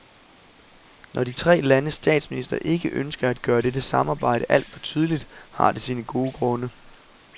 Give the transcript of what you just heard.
Når de tre landes statsministre ikke ønsker at gøre dette samarbejde alt for tydeligt, har det sine gode grunde.